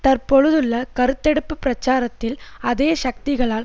தற்பொழுதுள்ள கருத்தெடுப்பு பிரச்சாரத்தில் அதே சக்திகளால்